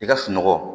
I ka sunɔgɔ